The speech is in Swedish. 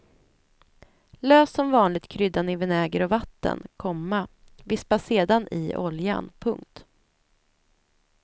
Lös som vanligt kryddan i vinäger och vatten, komma vispa sedan ioljan. punkt